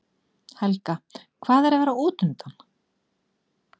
Helga: Hvað er að vera útundan?